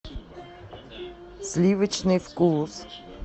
сливочный вкус